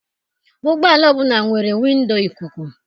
Ụgbọala ọbụla nwere windo ikuku.